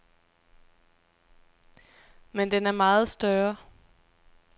Men den er meget større.